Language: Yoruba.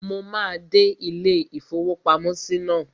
Mo máa dé ilé-ìfowópamọ́sí náà